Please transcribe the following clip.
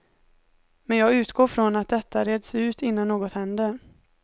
Men jag utgår från att detta reds ut innan något händer.